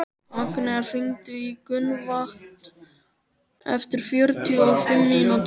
Agnea, hringdu í Gunnvant eftir fjörutíu og fimm mínútur.